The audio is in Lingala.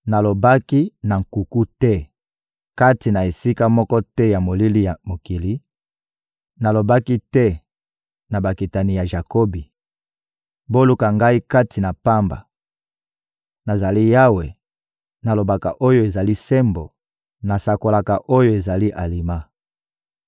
Nalobaki na nkuku te, kati na esika moko te ya molili ya mokili; nalobaki te na bakitani ya Jakobi: ‹Boluka Ngai kati na pamba!› Nazali Yawe, nalobaka oyo ezali sembo, nasakolaka oyo ezali alima.